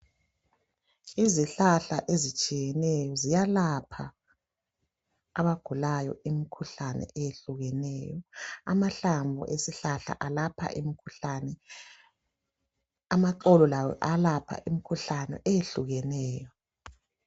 Izihlahla ezitshiyeneyo ziyalapha abagulayo imikhuhlane eyehlukeneyo. Amahlamvu esihlahla alpha imikhuhlane, amaxolo lawo ayalapha imikhuhlane eyehlukeneyo.